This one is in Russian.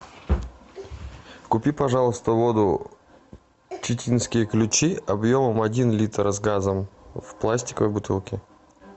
купи пожалуйста воду читинские ключи объемом один литр с газом в пластиковой бутылке